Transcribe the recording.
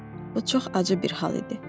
Ah, bu çox acı bir hal idi.